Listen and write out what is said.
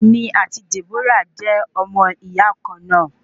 Èmi ati Deborah jẹ omo iya kan na